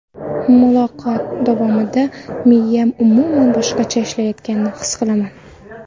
Muloqot davomida miyam umuman boshqacha ishlayotganini his qilaman.